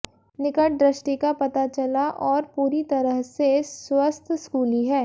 निकट दृष्टि का पता चला और पूरी तरह से स्वस्थ स्कूली है